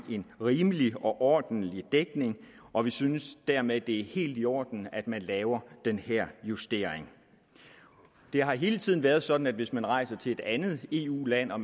rimelig og ordentlig dækning og vi synes dermed at det er helt i orden at man laver den her justering det har hele tiden været sådan at hvis man rejser til et andet eu land og